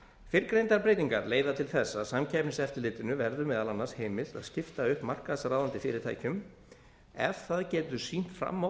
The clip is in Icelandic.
fyrrgreindar breytingar leiða til þess að samkeppniseftirlitinu verður meðal annars heimilt að skipta upp markaðsráðandi fyrirtækjum ef það getur sýnt fram á